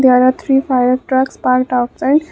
there are three fire trucks parked outside.